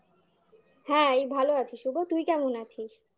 হ্যাঁ এই ভালো আছি শুভ তুই কেমন আছিস?